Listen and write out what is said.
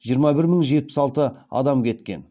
жиырма бір мың жетпіс алты адам кеткен